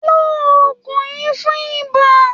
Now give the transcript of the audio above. Lo oògùn yìí fún ibà.